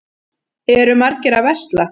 Eru margir að versla?